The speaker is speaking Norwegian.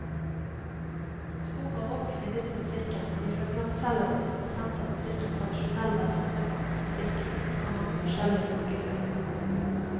Spor av rock finnes i musikken, men ifølge ham selv er åtti prosent av musikken tradisjonell vestafrikansk musikk fra mange forskjellige folkegrupper.